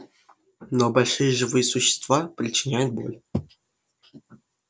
но большие живые существа причиняют боль